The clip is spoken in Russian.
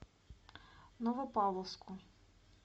новопавловску